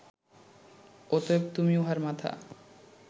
অতএব তুমি উহার মাথা